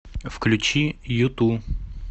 включи юту